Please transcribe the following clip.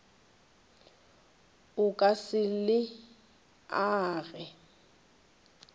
o ka se le age